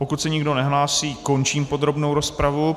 Pokud se nikdo nehlásí, končím podrobnou rozpravu.